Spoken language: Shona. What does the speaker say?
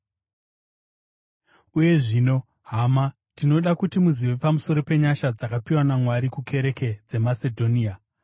Uye zvino, hama, tinoda kuti muzive pamusoro penyasha dzakapiwa naMwari kukereke dzeMasedhonia.